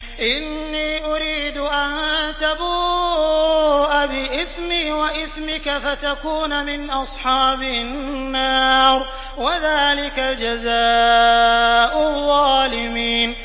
إِنِّي أُرِيدُ أَن تَبُوءَ بِإِثْمِي وَإِثْمِكَ فَتَكُونَ مِنْ أَصْحَابِ النَّارِ ۚ وَذَٰلِكَ جَزَاءُ الظَّالِمِينَ